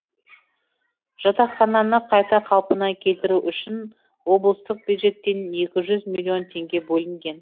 жатақхананы қайта қалпына келтіру үшін облыстық бюджеттен екі жүз миллион теңге бөлінген